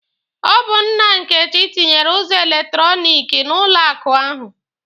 Ọ bụ nna Nkechi tinyere ụzọ elektọrọniki n'ụlọ akụ ahụ.